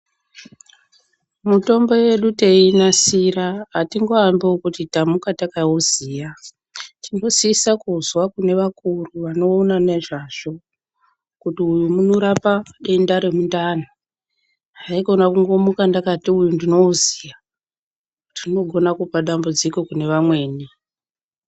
Mitombo yedu teiinasira, atingoambi ekuti tamuka takauziya. Tinosisa kuzwa kune vakuru vanoona nezvazvo, kuti uyu unorapa denda remundani. Haikona kungomuka ndakati uyu ndinouziya. Tinogona kupa dambudziko kune vamweni.